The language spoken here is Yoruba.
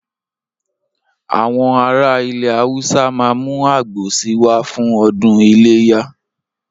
Àwọn ará ilẹ̀ Haúsá ma mú àgbò si wá fún ọdún iléyà